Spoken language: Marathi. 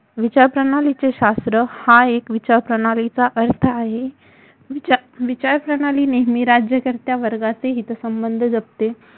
विचारप्रणालीचे शास्त्र हा एक विचारप्रणालीचा अर्थ आहे विचारप्रणाली नेहमी राज्यकर्त्या वर्गांचे हितसंबंध जपते